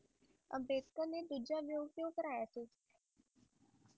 ਅੰਬੇਡਕਰ ਨੇ ਦੂਜਾ ਵਿਆਹ ਕਿਉ ਕਰਾਇਆ ਸੀ